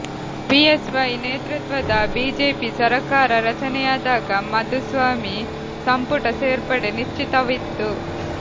BSY ನೇತೃತ್ವದ BJP ಸರಕಾರ ರಚನೆಯಾದಾಗ ಮಾಧುಸ್ವಾಮಿ ಸಂಪುಟ ಸೇರ್ಪಡೆ ನಿಶ್ಚಿತವಿತ್ತು